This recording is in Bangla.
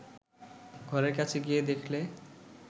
ঘরের কাছে গিয়ে দেখলে